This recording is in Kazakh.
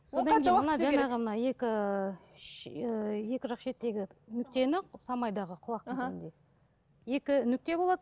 содан жаңағы мына екі ы екі жақ шеттегі нүктені самайдағы екі нүкте болады